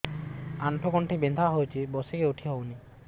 ଆଣ୍ଠୁ ଗଣ୍ଠି ବିନ୍ଧା ହଉଚି ବସିକି ଉଠି ହଉନି